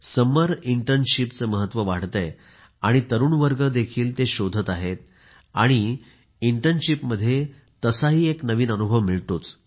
समर इंटर्नशिपचे महत्व वाढत आहे आणि तरुण वर्ग देखील ते शोधत आहेत आणि असेही इंटर्नशिपमध्ये एक नवीन अनुभव मिळतो